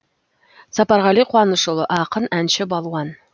сапарғали қуанышұлы ақын әнші балуан